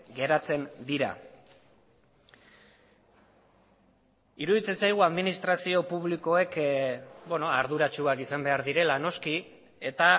geratzen dira iruditzen zaigu administrazio publikoek arduratsuak izan behar direla noski eta